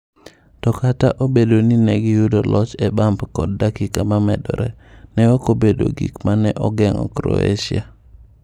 To kata obedo ni ne giyudo loch e bump kod dakika ma medore, ne ok obedo gik ma ne ogeng’o Croatia.